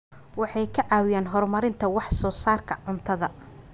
Waxay ka caawiyaan horumarinta wax soo saarka cuntada.